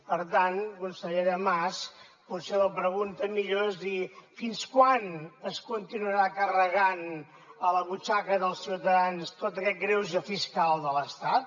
per tant consellera mas potser la pregunta millor és dir fins quan es continuarà carregant a la butxaca dels ciutadans tot aquest greuge fiscal de l’estat